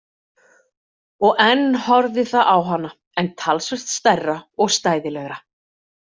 Og enn horfði það á hana en talsvert stærra og stæðilegra.